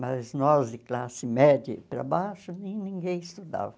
Mas nós, de classe média para baixo, ninguém estudava.